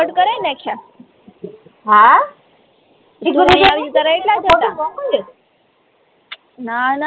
હા ટુ તો અહીંયા આવી ટી ત્યારે એટલાજ હતા ના ના